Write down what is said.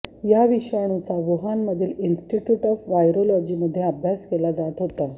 या विषाणूचा वुहानमधील इन्स्टिट्यूट ऑफ व्हायरॉलॉजीमध्ये अभ्यास केला जात होता